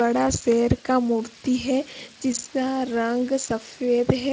बड़ा सेर का मूर्ति है जिसका रंग सफेद है।